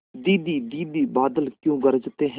दीदी दीदी बादल क्यों गरजते हैं